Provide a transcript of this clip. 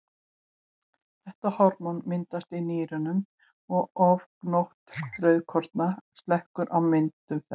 Þetta hormón myndast í nýrunum og ofgnótt rauðkorna slekkur á myndun þess.